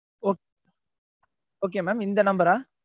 okay okay mam இந்த number ஆ?